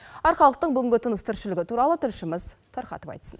арқалықтың бүгінгі тыныс тіршілігі туралы тілшіміз тарқатып айтсын